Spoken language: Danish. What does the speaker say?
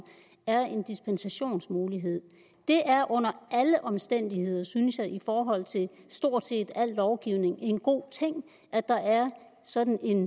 er en dispensationsmulighed det er under alle omstændigheder synes jeg i forhold til stort set al lovgivning en god ting at der er sådan en